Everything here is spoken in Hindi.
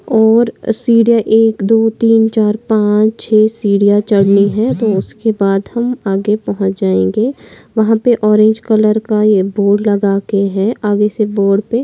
और सिडिया एक दो तीन चार पाँच छे सीडिया चड़नी है तो उसके बाद हम आगे पहुंच जाएंगे वहा पे ऑरेंज कलर का ये बोर्ड लगा के है आगे से बोर्ड पे --